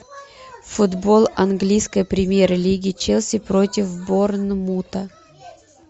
футбол английской премьер лиги челси против борнмута